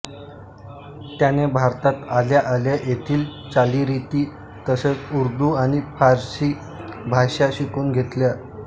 त्याने भारतात आल्या आल्या येथील चालीरीती तसेच उर्दू आणि फारसी भाषा शिकून घेतल्या